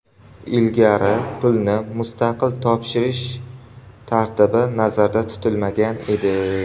Ilgari, pulni mustaqil topshirish tartibi nazarda tutilmagan edi.